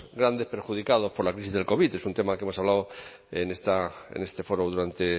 grandes perjudicados por la crisis del covid es un tema que hemos hablado en este foro durante